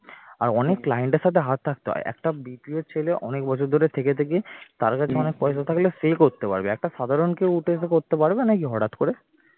আর অনেক client র সাথে হাত থাকতে হয় একটা BPO র ছেলে অনেক বছর ধরে থেকে থেকে তার কাছে অনেক পয়সা থাকলে সে করতে পারবে একটা সাধারন কেউ উঠে এসে করতে পারবে নাকি হঠাৎ করে